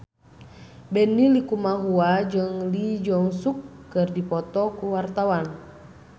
Benny Likumahua jeung Lee Jeong Suk keur dipoto ku wartawan